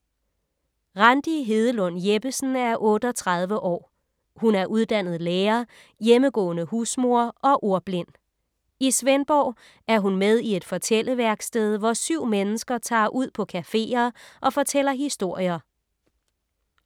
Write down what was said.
Randi Hedelund Jeppesen er 38 år. Hun er uddannet lærer, hjemmegående husmor og ordblind. I Svendborg er hun med i et fortælleværksted, hvor syv mennesker tager ud på cafeer og fortæller historier.